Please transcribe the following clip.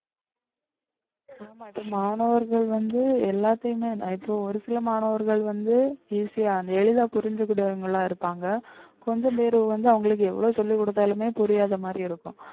ஆமா இப்ப மாணவர்கள் வந்து எல்லாத்தையுமே இப்ப ஒரு சில மாணவர்கள் வந்து easy ஆ எளிதா புரிஞ்சிக்கக்கூடியவங்களா இருப்பாங்க கொஞ்சம் பேரு வந்து அவங்களுக்கு எவ்வளவு சொல்லிக் கொடுத்தாலுமே புரியாத மாதிரி இருக்கும்